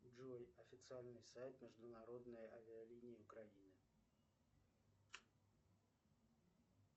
джой официальный сайт международные авиалинии украины